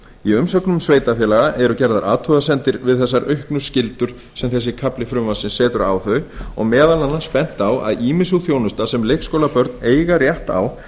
í umsögnum sveitarfélaga eru gerðar athugasemdir við um þessar auknu skyldur sem þessi kafli frumvarpsins setur á þau og meðal annars bent á að ýmis sú þjónusta sem leikskólabörn eiga rétt á